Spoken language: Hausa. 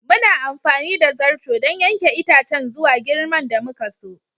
Muna amfani da zarto don yanke itacen zuwa girman da muka so.